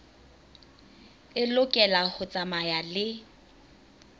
e lokela ho tsamaya le